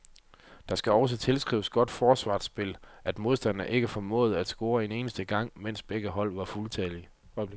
Det skal også tilskrives godt forsvarsspil, at modstanderne ikke formåede at score en eneste gang, mens begge hold var fuldtallige.